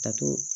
Ka to